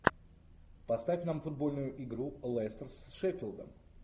поставь нам футбольную игру лестер с шеффилдом